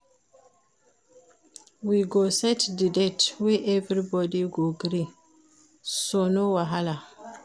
We go set di date wey everybody go gree, so no wahala.